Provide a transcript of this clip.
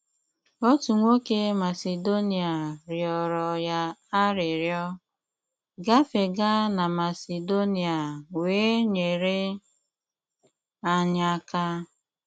Otù nwokè Masedonia rịọrọ̀ ya àrị́rịọ̀: “Gafeèga na Masedonia wéé nyere anyị aka.